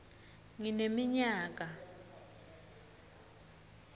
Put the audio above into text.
ngineminyaka